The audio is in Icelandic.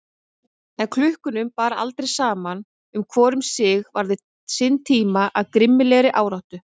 En klukkunum bar aldrei saman og hvor um sig varði sinn tíma af grimmilegri áráttu.